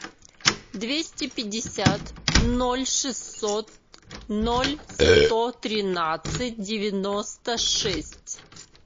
двести пятьдесят ноль шестьсот ноль сто тринадцать девяносто шесть